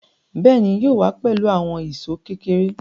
Béèni, yóò wá pẹ̀lú àwọn èṣó kékeré